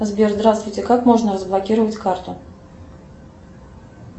сбер здравствуйте как можно разблокировать карту